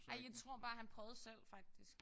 Ej jeg tror bare han prøvede selv faktisk